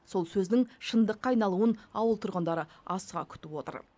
сол сөздің шындыққа айналуын ауыл тұрғындары асыға күтіп отыр